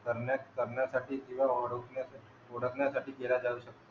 करण्यात करण्यासाठी किंवा ओळखण्यासाठी ओळखण्यासाठी केला जाऊ शकतो.